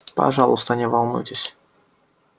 пожалуйста не волнуйтесь